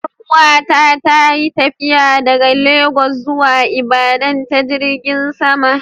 Yar uwa ta ta yi tafiya daga Ikko zuwa Ibadan ta jirigin sama.